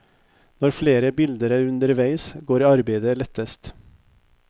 Når flere bilder er underveis, går arbeidet lettest.